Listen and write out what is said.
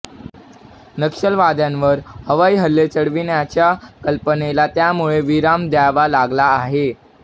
नक्षलवाद्यांवर हवाई हल्ले चढविण्याच्या कल्पनेला त्यामुळे विराम द्यावा लागला आहे